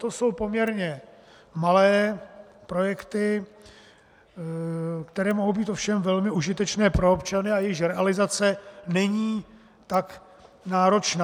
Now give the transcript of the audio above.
To jsou poměrně malé projekty, které mohou být ovšem velmi užitečné pro občany a jejichž realizace není tak náročná.